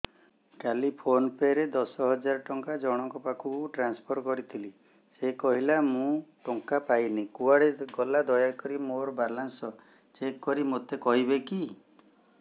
କାଲି PhonePe ରେ ଦଶ ହଜାର ଟଙ୍କା ଜଣକ ପାଖକୁ ଟ୍ରାନ୍ସଫର୍ କରିଥିଲି ସେ କହିଲା ମୁଁ ଟଙ୍କା ପାଇନି କୁଆଡେ ଗଲା ଦୟାକରି ମୋର ବାଲାନ୍ସ ଚେକ୍ କରି ମୋତେ କହିବେ କି